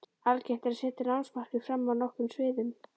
Algengt er að setja námsmarkmið fram á nokkrum sviðum.